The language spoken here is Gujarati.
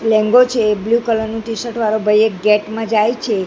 લેંઘો છે એક બ્લુ કલર નુ ટી-શર્ટ વાળો ભઈ એક ગેટ મા જાઈ છે.